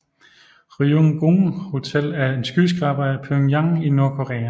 Ryugyong Hotel er en skyskraber i Pyongyang i Nordkorea